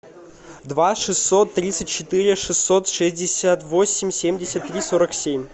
два шестьсот тридцать четыре шестьсот шестьдесят восемь семьдесят три сорок семь